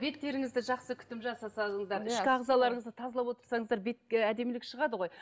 беттеріңізді жақсы күтім жасасаңыздар ішкі ағзаларыңызды тазалап отырсаңыздар ы әдемілік шығады ғой